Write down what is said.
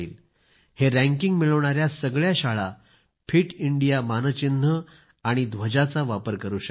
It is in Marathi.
हे रँकिंग मिळवणाऱ्या सगळ्या शाळा फिट इंडिया मानचिन्ह आणि ध्वजाचा वापर करू शकतील